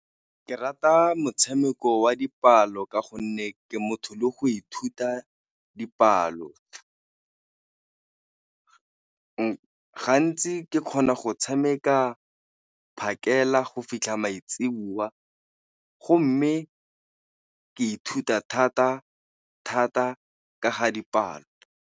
Ke rata motshameko wa dipalo ka gonne ke motho le go ithuta dipalo, gantsi ke kgona tshameka phakela go fitlha maitsiboa go mme ka ithuta thata thata ka ga dipalo.